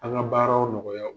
An ka baaraw nɔgɔya